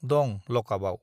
दं लकआपआव।